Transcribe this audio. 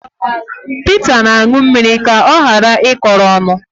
Pita na-aṅụ mmiri ka ọ ghara ịkọrọ ọnụ